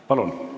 Palun!